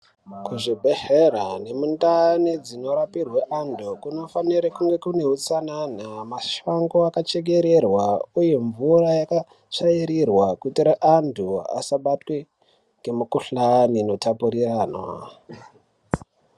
Kuzvibhehlera nemundau dzinorapirwa antu kunofanire kunge kune utsanana mashango akachekererwa uye mvura yakatsvairirwa kuitire antu asabatwe nemikhuhlani inotapurirwana.